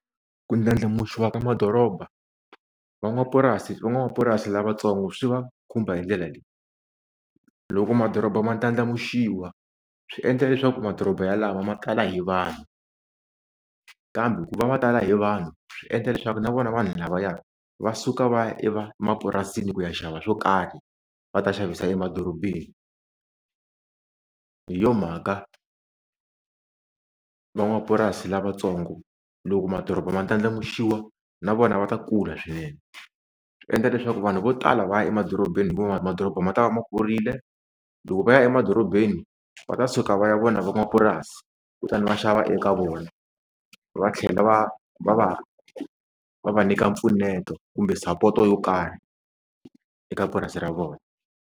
Ku ndlandlamuxiwa ka madoroba van'wapurasi van'wamapurasi lavatsongo swi va khumba hi ndlela leyi, loko madoroba ma ndlandlamuxiwa swi endla leswaku madoroba yalawa ma kala hi vanhu kambe ku va va tala hi vanhu swi endla leswaku na vona vanhu lavaya va suka va ya e va mapurasini ku ya xava swo karhi va ta xavisa emadorobeni hi yo mhaka van'wapurasi lavatsongo loko madoroba ma ndlandlamuxiwa na vona va ta kula swinene swi endla leswaku vanhu vo tala va ya emadorobeni hikuva madoroba ma ta va ma kurile loko va ya emadorobeni va ta suka va ya vona van'wapurasi kutani va xava eka vona va tlhela va va va va va nyika mpfuneto kumbe sapoto yo karhi eka purasi ra vona.